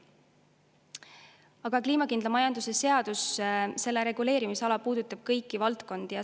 Aga kliimakindla majanduse seadus, selle reguleerimisala puudutab kõiki valdkondi.